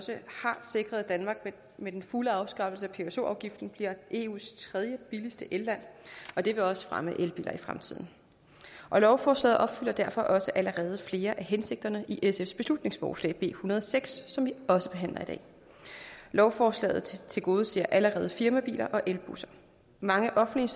sikret at danmark med den fulde afskaffelse af pso afgiften bliver eus tredjebilligste elland og det vil også fremme salget af elbiler i fremtiden og lovforslaget opfylder derfor også allerede flere af hensigterne i sfs beslutningsforslag b en hundrede og seks som vi også behandler i dag lovforslaget tilgodeser allerede firmabiler og elbusser mange offentlige